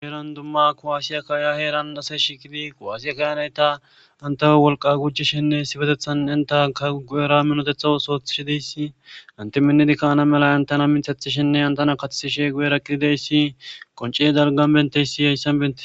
Gueeran dumma kowaasiya kaaya heeran asay shiikidi kowaasiya kayanay ta antawe wolqa gujishenne sibetethan intaka gu'era minotethas oothishidiysi ante minnidikka ana mela intana minthathishenne antana kathiishe guera qidideyssi qonciye dalgan benteysi yayssan bene